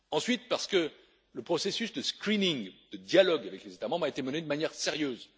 ensuite, parce que le processus de screening de dialogue avec les États membres a été mené de manière sérieuse